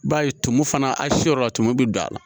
I b'a ye tumu fana a siyɔrɔ la tumu bɛ don a la